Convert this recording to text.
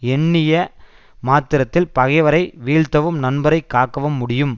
எண்ணிய மாத்திரத்தில் பகைவரை வீழ்த்தவும் நண்பரைக் காக்கவும் முடியும்